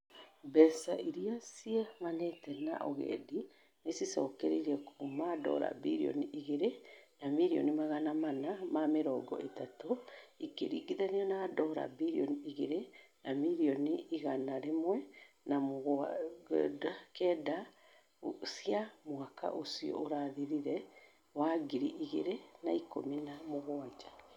Mbeca iria ciumanire na ũgendi nĩ ciongererekete kuuma dola billioni igĩrĩ na mirioni magana mana na mĩrongo ĩtatũ ikĩringithanio na dola billioni igĩrĩ na mirioni igana rimwe na mĩrungũ kenda cia mwaka ũcio ũrathirire wa ngiri igĩrĩ na ikũmi na mũguanja.